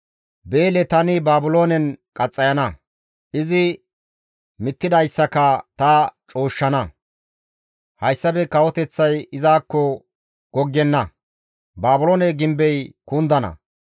Beele tani Baabiloonen qaxxayana; izi mittidayssaka ta cooshshana; hayssafe kawoteththay izakko goggenna; Baabiloone gimbey kundana.